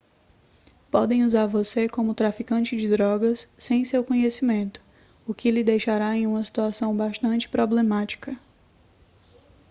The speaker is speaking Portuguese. podem usar você como traficante de drogas sem seu conhecimento o que lhe deixará em uma situação bastante problemática